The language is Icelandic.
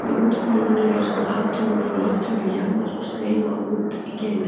Í úthvolfinu losna atóm frá lofthjúpi jarðar og streyma út í geiminn.